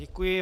Děkuji.